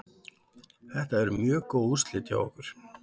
Þetta voru mjög góð úrslit hjá okkur.